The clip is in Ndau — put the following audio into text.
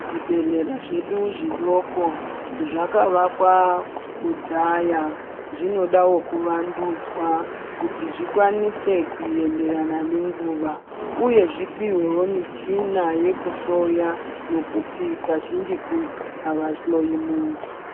Zvibhedhlera zvedu zvidoko zvakavakwa kudhaya zvinodawo kuvandudzwa kuti zvikwanise kuenderana nenguva uye zvipiwewo michini yekuhloya ngekuti kazhinji uku ava hloyi muntu.